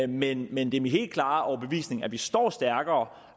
men men det er min helt klare overbevisning at vi står stærkere